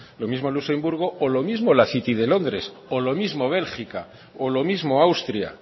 lo mismo luxemburgo o lo mismo la city de londres o lo mismo bélgica o lo mismo austria